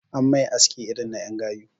An mai aski irin na en gayu